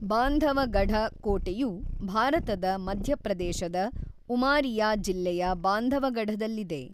ಬಾಂಧವಗಢ ಕೋಟೆಯು ಭಾರತದ ಮಧ್ಯಪ್ರದೇಶದ ಉಮಾರಿಯಾ ಜಿಲ್ಲೆಯ ಬಾಂಧವಗಢದಲ್ಲಿದೆ.